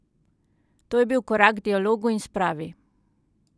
To je bil korak k dialogu in spravi!